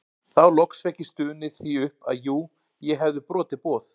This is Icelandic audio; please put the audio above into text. Þá loks fékk ég stunið því upp að jú ég hefði brotið boð